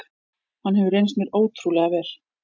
Hann hefur reynst mér ótrúlega vel.